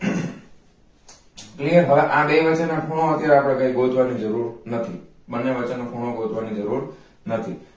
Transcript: આ બે વચ્ચે નાં ખૂણા ગોતવાની જરૂર નથી બંને વચ્ચે નો ખૂણો ગોતવાની જરૂર નથી